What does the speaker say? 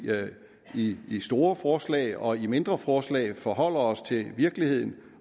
i i store forslag og i mindre forslag forholder os til virkeligheden